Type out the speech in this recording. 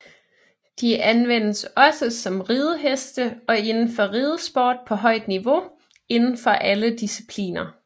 De anvendes også som rideheste og indenfor ridesport på højt niveau inden for alle discipliner